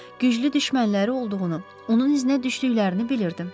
Güclü düşmənləri olduğunu, onun iznə düşdüklərini bilirdim.